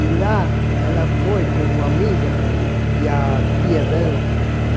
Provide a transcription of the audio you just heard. E lá ela foi com uma amiga e a tia dela.